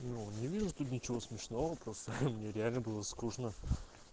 ну не вижу тут ничего смешного просто мне реально было скучно